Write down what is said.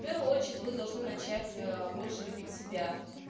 в первую очередь вы должны начать больше любить себя